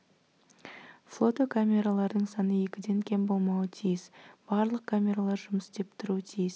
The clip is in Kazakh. флотокамералардың саны екіден кем болмауы тиіс барлық камералар жұмыс істеп тұруы тиіс